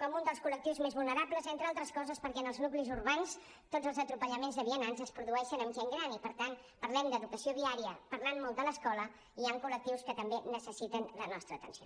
com un dels col·lectius més vulnerables entre altres coses perquè en els nuclis urbans tots els atropellaments de vianants es produeixen amb gent gran i per tant parlem d’educació viària parlant molt de l’escola i hi han col·lectius que també necessiten la nostra atenció